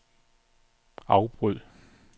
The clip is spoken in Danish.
afbryd